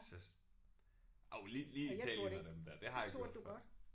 Så jo lige lige i Italien og dem der det har jeg gjort før